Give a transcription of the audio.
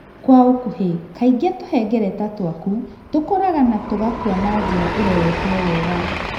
Kwa ũkuhĩ:kaingĩ, tũhengereta twaku tũkũraga na tũgakua na njĩra iroretwo wega.